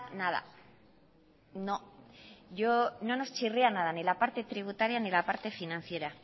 nada no no nos chirríanada ni la parte tributaria ni la parte financiera